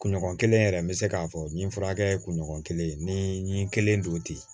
Kunɲɔgɔn kelen yɛrɛ n bɛ se k'a fɔ n ye n furakɛ kunɲɔgɔn kelen ni n kelen don ten